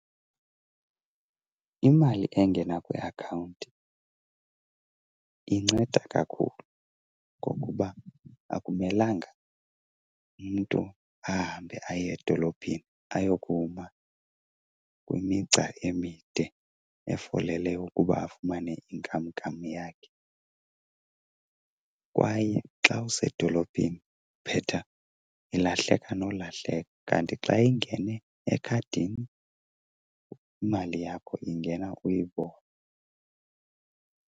Imali engena kwiakhawunti inceda kakhulu ngokuba akumelanga umntu ahambe aye edolophini ayokuma kwimigca emide efolele ukuba afumane inkamnkam yakhe. Kwaye xa usedolophini iphetha ilahleka nolahleka, kanti xa ingene ekhadini imali yakho ingena uyibone.